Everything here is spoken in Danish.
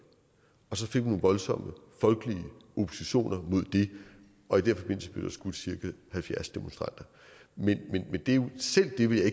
og så fik man nogle voldsomme folkelige oppositioner imod det og i den forbindelse blev der skudt cirka halvfjerds demonstranter men selv det vil jeg